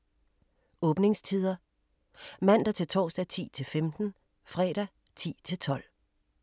Åbningstider: Mandag-torsdag: 10-15 Fredag: 10-12